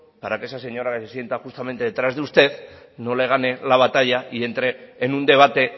para que esa señora que sienta justamente detrás de usted no le gane la batalla y entre en un debate